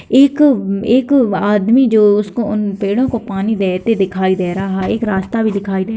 एक एक आदमी जो उसको उन पेड़ों को पानी देते दिखाई दे रहा है एक रास्ता भी दिखाई --